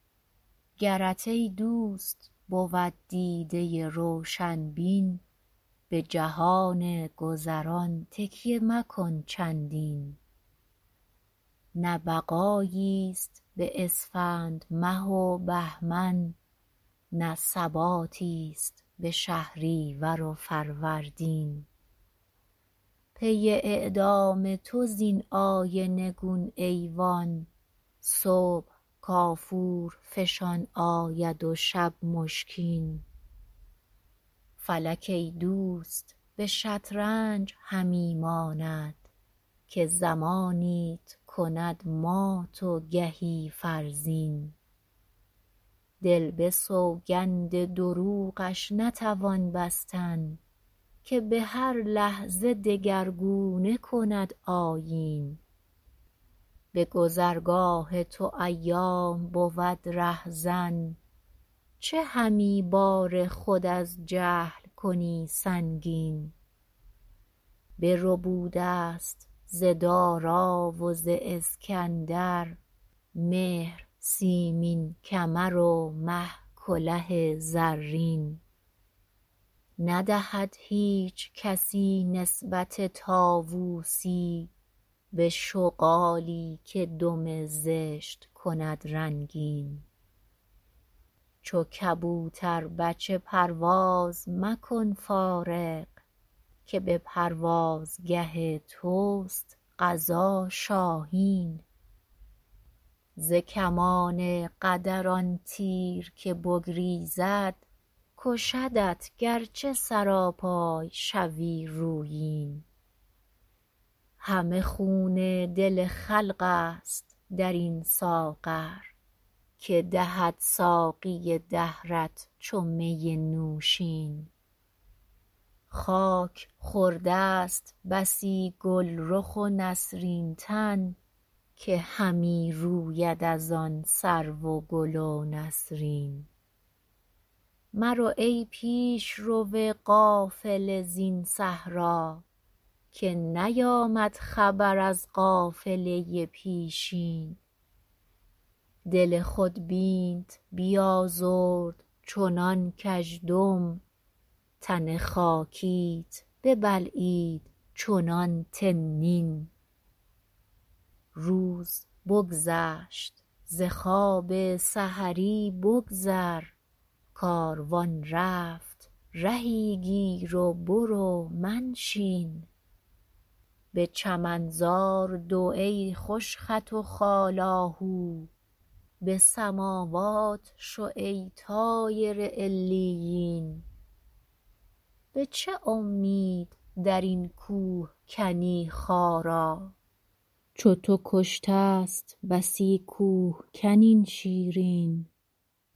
گرت ایدوست بود دیده روشن بین بجهان گذران تکیه مکن چندین نه بقاییست به اسفند مه و بهمن نه ثباتی است به شهریور و فروردین پی اعدام تو زین آینه گون ایوان صبح کافور فشان آید و شب مشکین فلک ایدوست به شطرنج همی ماند که زمانیت کند مات و گهی فرزین دل به سوگند دروغش نتوان بستن که به هر لحظه دگرگونه کند آیین به گذرگاه تو ایام بود رهزن چه همی بار خود از جهل کنی سنگین بربود است ز دارا و ز اسکندر مهر سیمین کمر و مه کله زرین ندهد هیچ کسی نسبت طاوسی به شغالی که دم زشت کند رنگین چو کبوتر بچه پرواز مکن فارغ که به پروازگه تست قضا شاهین ز کمان قدر آن تیر که بگریزد کشدت گرچه سراپای شوی رویین همه خون دل خلق است در این ساغر که دهد ساقی دهرت چو می نوشین خاک خوردست بسی گلرخ و نسرین تن که همی روید از آن سرو و گل و نسرین مرو ای پیشرو قافله زین صحرا که نیامد خبر از قافله پیشین دل خود بینت بیازرد چنان کژدم تن خاکیت ببلعید چنان تنین روز بگذشت ز خواب سحری بگذر کاروان رفت رهی گیر و برو منشین به چمنزار دو ای خوش خط و خال آهو به سماوات شو ای طایر علیین به چه امید در این کوه کنی خارا چو تو کشتست بسی کوهکن این شیرین